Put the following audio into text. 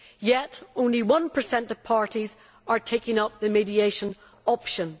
Yet only 1 of parties are taking up the mediation option.